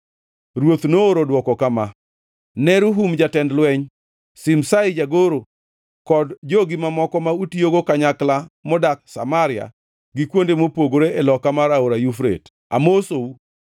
Ruoth nooro dwoko kama: Ne Rehum jatend lweny, Shimshai jagoro kod jogi mamoko ma utiyogo kanyakla modak Samaria gi kuonde mopogore e loka mar Aora Yufrate. Amosou.